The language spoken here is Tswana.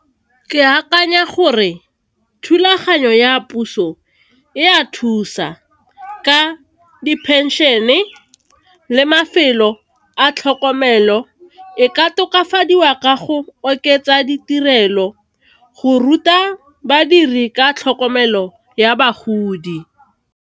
Ke akanya gore thulaganyo ya puso e a thusa ka di phenšene le mafelo a tlhokomelo. E ka tokafadiwa ka go oketsa ditirelo go ruta badiri ka tlhokomelo ya bagodi.